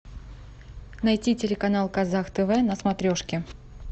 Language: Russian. найти телеканал казах тв на смотрешке